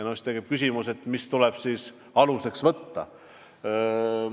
Siis tekib küsimus, mis tuleks aluseks võtta.